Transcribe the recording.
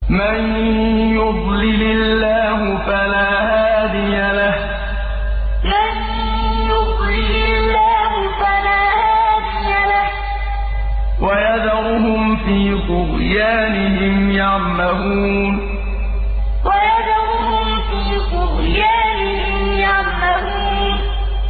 مَن يُضْلِلِ اللَّهُ فَلَا هَادِيَ لَهُ ۚ وَيَذَرُهُمْ فِي طُغْيَانِهِمْ يَعْمَهُونَ مَن يُضْلِلِ اللَّهُ فَلَا هَادِيَ لَهُ ۚ وَيَذَرُهُمْ فِي طُغْيَانِهِمْ يَعْمَهُونَ